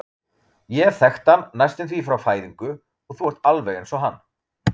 Ég hef þekkt hann næstum því frá fæðingu og þú ert alveg eins og hann.